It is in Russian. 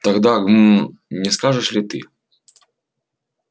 тогда гм не скажешь ли ты